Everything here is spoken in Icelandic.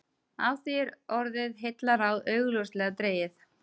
Af því er orðið heillaráð augljóslega dregið.